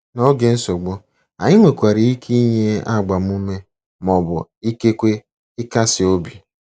N'oge nsogbu, anyị nwekwara ike inye agbamume ma ọ bụ ikekwe ịkasi obi.